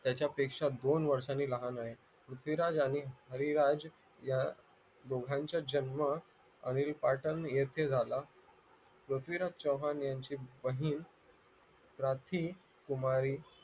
त्याच्यापेक्षा दोन वर्षांनी लहान आहे पृथ्वीराज आणि हरिराज या दोघांचा जन्म अनिल पाटण येथे झाला पृथ्वीराज चव्हाण यांची बहिण राखी कुमारी